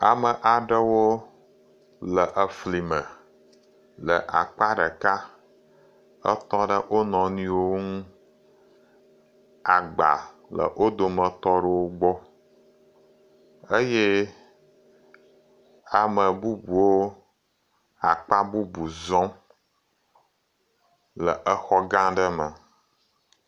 Ame aɖewo le efli me le akpa ɖeka. Etɔ ɖe wo nɔnɔewo nu. Agba le wo dometɔ ɖowo gbɔ. Eye amebubuwo akpa bubu zɔm le exɔ gã ɖe me.